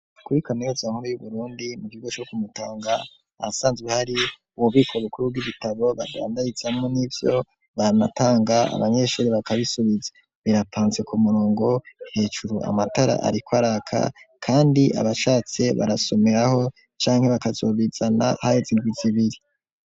Kuri Kaminuza nkuru yuBurundi mu kigo co ku Mutanga ahasanzwe hari ububiko bukuru bw'ibitabo bandayizamo n'ivyo banatanga abanyeshuri bakabisubiza, birapfanse ku murongo hejuru amatara ariko araka kandi abashatse barasomeraho cange bakazobizana haheze indwizibiri.